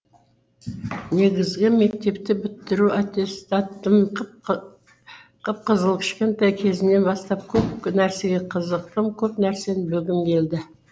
негізгі мектепті бітіру аттестатым қып қызыл кішкентай кезімнен бастап көп нәрсеге қызықтым көп нәрсені білгім келді